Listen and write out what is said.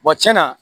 tiɲɛna